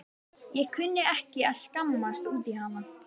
Ég kunni ekki að skammast út í hana.